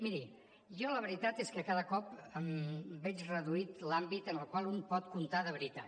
miri jo la veritat és que cada cop veig reduït l’àmbit en el qual un pot comptar de veritat